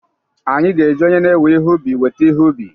Anyị ga-eji onye na-ewe ihe ubi weta ihe ubi